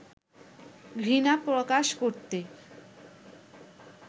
ঘৃণা প্রকাশ করতে